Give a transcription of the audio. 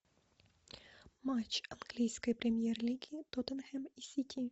матч английской премьер лиги тоттенхэм и сити